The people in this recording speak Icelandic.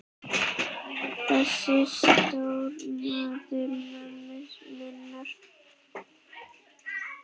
Þessi stóri maður mömmu minnar.